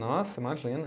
Nossa, imagina.